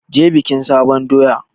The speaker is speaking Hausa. Je bikin sabon doya!